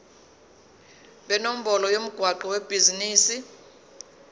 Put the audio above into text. nenombolo yomgwaqo webhizinisi